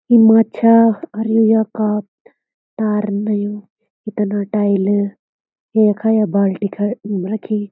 यु माछा और यु यखात तार नयू भितना टाइल यो यख ये बाल्टी खड रखीं।